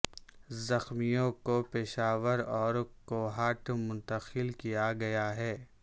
زخمیوں کو پشاور اور کوہاٹ منتقل کیا گیا ہے